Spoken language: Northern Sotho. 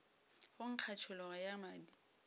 go nkga tšhologo ya madi